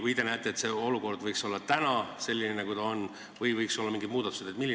Kas te näete, et olukord võikski olla selline, nagu ta täna on, või võiks olla tehtud mingeid muudatusi?